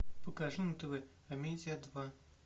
покажи на тв амедиа два